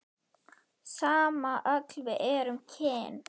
Sama öll við erum kyn.